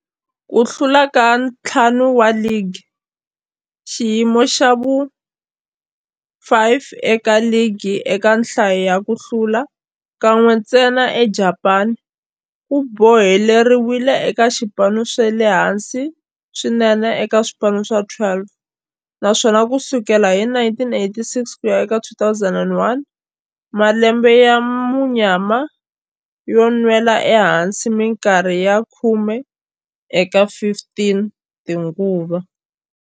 Ku hlula ka ntlhanu wa ligi, xiyimo xa vu-5 eka ligi eka nhlayo ya ku hlula, kan'we ntsena eJapani, ku boheleriwile eka swipano swa le hansi swinene eka swipano swa 12, naswona ku sukela hi 1987 ku ya eka 2001, malembe ya munyama yo nwela ehansi minkarhi ya khume eka 15 tinguva.